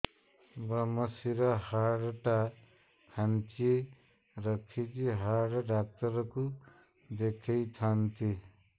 ଵ୍ରମଶିର ହାଡ଼ ଟା ଖାନ୍ଚି ରଖିଛି ହାଡ଼ ଡାକ୍ତର କୁ ଦେଖିଥାନ୍ତି